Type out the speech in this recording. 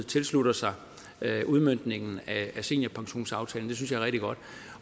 tilslutter sig udmøntningen af seniorpensionsaftalen